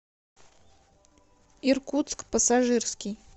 иркутск пассажирский